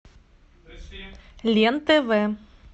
лен тв